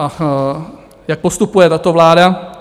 A jak postupuje tato vláda?